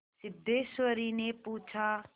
सिद्धेश्वरीने पूछा